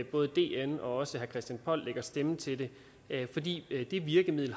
både dn og også herre christian poll lægger stemme til det fordi det virkemiddel